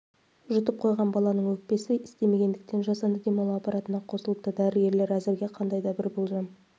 жұтып қойған баланың өкпесі істемегендіктен жасанды демалу аппаратына қосылыпты дәрігерлер әзірге қандайда ба бір болжам